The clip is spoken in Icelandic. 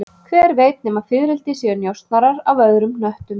Hver veit nema fiðrildi séu njósnarar af öðrum hnöttum